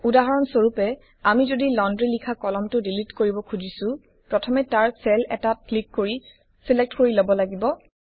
উদাহৰণ স্বৰূপে আমি যদি লন্ড্ৰি লিখা কলমটো ডিলিট কৰিব খুজিছো প্ৰথমে তাৰ চেল এটাত ক্লিক কৰি ছিলেক্ট কৰি লব লাগিব